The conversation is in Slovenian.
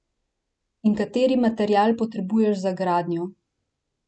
In kateri material potrebuješ za gradnjo?